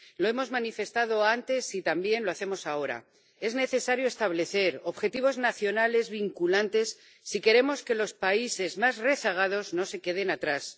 Lo hemos manifestado antes y también lo hacemos ahora es necesario establecer objetivos nacionales vinculantes si queremos que los países más rezagados no se queden atrás.